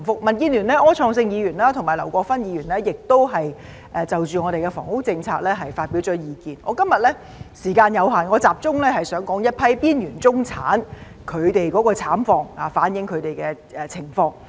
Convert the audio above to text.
民主建港協進聯盟的柯創盛議員和劉國勳議員亦已就房屋政策發表意見，由於時間有限，我今天想集中說說一批邊緣中產的慘況，反映他們的情況。